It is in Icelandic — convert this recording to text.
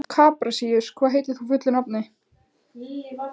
Kaprasíus, hvað heitir þú fullu nafni?